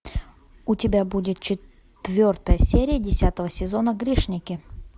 у тебя будет четвертая серия десятого сезона грешники